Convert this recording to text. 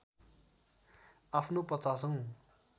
आफ्नो ५० औँ